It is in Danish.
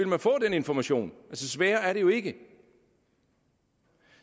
man få den information sværere er det jo ikke